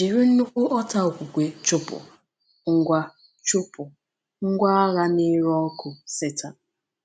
Jiri nnukwu ọta okwukwe chụpụ “ngwa chụpụ “ngwa agha na-ere ọkụ” Setan